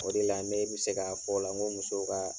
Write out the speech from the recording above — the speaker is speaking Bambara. O de la , ne bɛ se ka f'o la , n ko musow ka